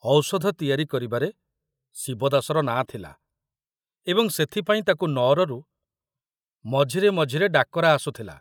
ଔଷଧ ତିଆରି କରିବାରେ ଶିବଦାସର ନାଁ ଥିଲା ଏବଂ ସେଥିପାଇଁ ତାକୁ ନଅରରୁ ମଝିରେ ମଝିରେ ଡାକରା ଆସୁଥିଲା।